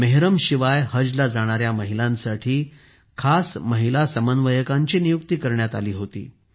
मेहरमशिवाय हजला जाणाऱ्याया महिलांसाठी खास महिला समन्वयकांची नियुक्ती करण्यात आली होती